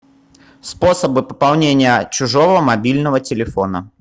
способы пополнения чужого мобильного телефона